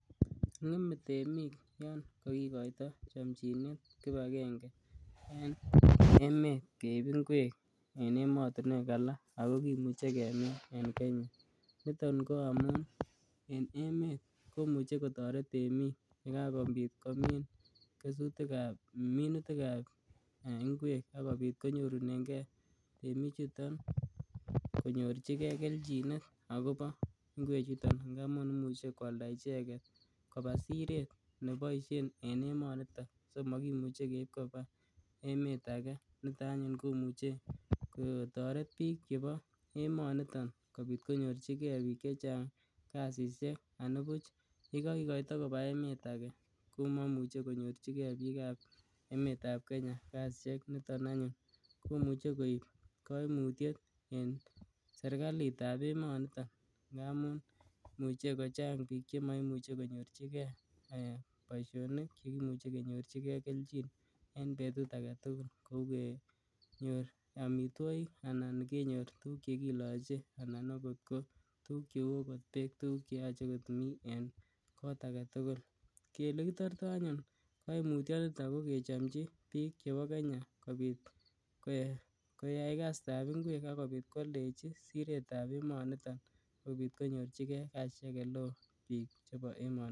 Ng'eme temiki yon kogoito chomchinet kipakenge en emet keib ingwek en emotinuek alak ako kimuche kemin en kenya niton ko amun en emet komuche kotoret temik yekakobit komin kesutikab minutikab ngwek akobit konyorunenge temichuton konyorchikee kelchinet akobo ngwechuton cheimuche kwalda icheket kobaa siret neboisien en emonito so mokimuche keib kobaa emet age nitoo anyun komuche kotoret biik chebo emoniton konyorchike biik chechang kasisiek anibuch yekokikoito kobaa emet ake komomuche konyorchike biikab emetab kenya kaisieik chuton anyun komuche koip koimutiet anyun en serikalitab emonito ngamun imuche kochang biik chemoimuche konyorchikee eeh boisionik chekimuche kenyorchikee kelchin en betut agetugul kou kenyor amitwogik anan tuguk chekiloche anan akot ko tuguk cheu akot beek ,tuguk cheyoche komii en kot agetugul, elekitortoo anyun koimutyinito ko kechomchii biik chebo kenya kobiit koyai kasitab ngwek akobit kwoldechi siretab emonitoni sikobit konyorchike kasisiek eleo biik chebo emoni.